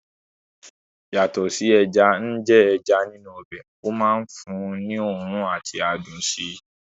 Yàtọ̀ sí ẹja ń jẹ́ ẹja nínú ọbẹ̀, ó máa ń fún un ní òórùn àti adùn sí i